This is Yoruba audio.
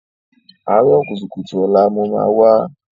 Àárọ̀ kùtùkùtù ọ̀la mo máa wá.